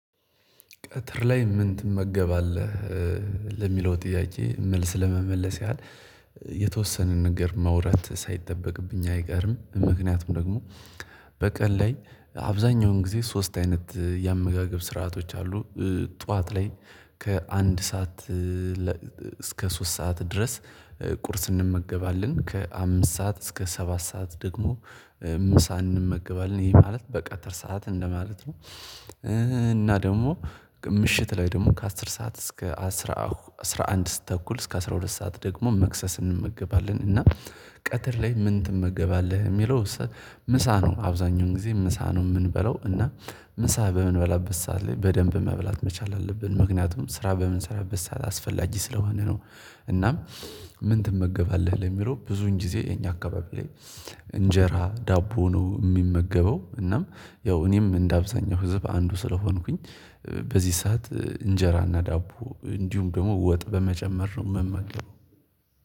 ቀትር ላይ ምን ትመገባለህ? ለሚለው ጥያቄ መልስ ለመመለስ ያህል የተወሰነ ነገር ማዉራት ሳይጠበቅብኝ አይቀርም ምክንያቱም ደግሞ በቀል ላይ አብዛኛውን ጊዜ ሶስት አይነት የአመጋገብ ስርዓቶች አሉ ጠዋት ላይ ከአንድ ሰዓት እስከ ሶስት ሰዓት ድረስ ቁርስ እንመገባለን፣ ከአምስት ሰዓት እስከ ሰባት ሰዓት ደግሞ ምሳ እንመገባለን፣ ይሄ ማለት በቀጥር ሰዓት እንደማለት ነው እና ደግሞ ምሽት ላይ ደግሞ ከአስር ሰዓት እስከ አስራ አስራ አንድ ተኩል እስከ አስራ ሁለት ሰዓት ደግሞ መክሰስ እንመገባለን እና ቀትር ላይ ምን ትመገባለህ የሚለው ምሳ ነው። አብዛኛውን ጊዜ ምሳ ነው የምንበለው እና ምሳ በምንበላበት ሰዓት ላይ በደንብ መብላት መቻል አለብን ምክንያቱም ስራ በምንሰራበት ሰዓት አስፈላጂ ስለሆነ ነው እናም ምን ትመገባለህ ለሚለው ብዙን ጊዜ የኛ አካባቢ ላይ እንጀራ፣ ዳቦ ነው የሚመገበው እናም ያው እኔም እንደ አብዛኛው ህዝብ አንዱ ስለሆንኩኝ በዚህ ሰዓት እንጀራና ዳቦ እንዲሁም ደግሞ ወጥ በመጨመር ነው የምመለመው